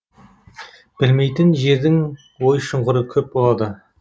білмейтін жердің ой шұқыры көп болады